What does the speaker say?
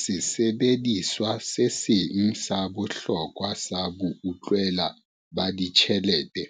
Sesebediswa se seng sa bohlokwa sa boutlwela ba ditjhelete